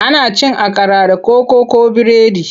Ana cin akara da koko ko biredi.